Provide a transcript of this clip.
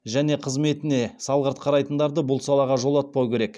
және қызметіне салғырт қарайтындарды бұл салаға жолатпау керек